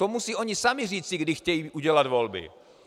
To musí oni sami říci, kdy chtějí udělat volby.